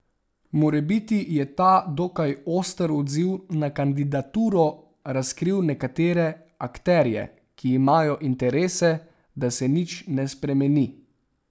Morebiti je ta dokaj oster odziv na kandidaturo razkril nekatere akterje, ki imajo interes, da se nič ne spremeni.